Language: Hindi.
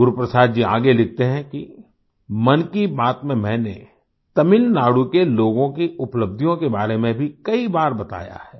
गुरु प्रसाद जी आगे लिखते हैं कि मन की बात में मैंने तमिलनाडु के लोगों की उपलब्धियों के बारे में भी कई बार बताया है